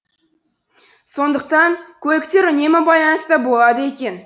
сондықтан көліктер үнемі байланыста болады екен